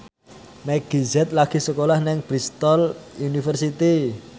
Meggie Z lagi sekolah nang Bristol university